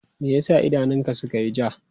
Me ya sa idanunka suka yi ja?